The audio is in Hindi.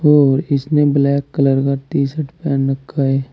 और इसने ब्लैक कलर का टी शर्ट पहेन रखा है।